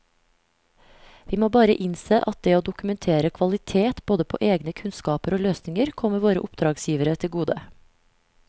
Vi må bare innse at det å dokumentere kvalitet både på egne kunnskaper og løsninger kommer våre oppdragsgivere til gode.